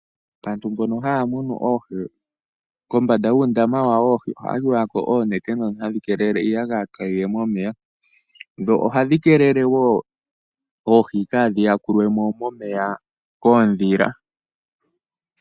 Aantu mbono haya munu oohi kombanda yuundama wawo woohi ohaya tulako oonete ndhono hadhi keelele iiyagaya kayiye momeya dho ohadhi keelele woo oohi kadhi yakulwemo momeya koondhila.